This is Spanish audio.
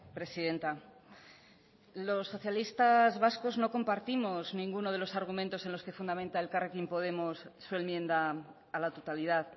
presidenta los socialistas vascos no compartimos ninguno de los argumentos en los que fundamenta elkarrekin podemos su enmienda a la totalidad